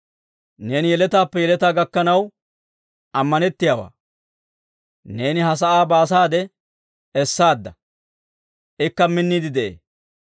Neeni yeletaappe yeletaa gakkanaw ammanettiyaawaa. Neeni ha sa'aa baasaade essaadda; ikka minniide de'ee.